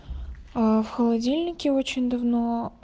а в холодильнике очень давно